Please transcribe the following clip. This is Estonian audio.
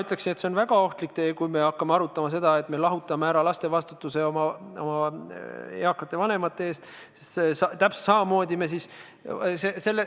Ütleksin, et see on väga ohtlik tee, kui me hakkame arutama seda, et võtame lastelt vastutuse oma eakate vanemate eest.